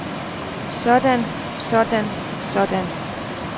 sådan sådan sådan